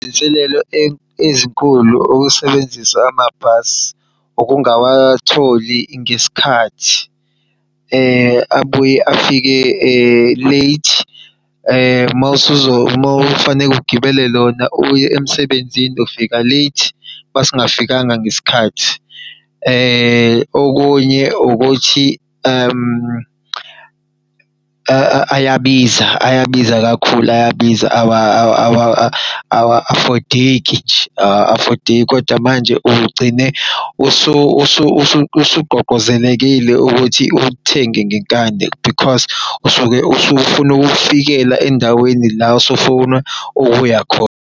Inselelo ezinkulu ukusebenzisa amabhasi, ukungawatholi ngesikhathi, abuye afike late. Uma kufanele ugibele lona uye emsebenzini ufika late uma singafikanga ngesikhathi. Okunye ukuthi ayabiza, ayabiza kakhulu awa-afodeki nje, awa-afodeki kodwa manje uke ugcine ukuthi ulithenge ngenkani because usuke usufuna ukufikela endaweni la usufuna ukuya khona.